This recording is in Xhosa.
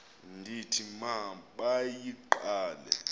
ndithi ma bayigqale